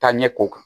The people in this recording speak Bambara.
Taaɲɛ ko kan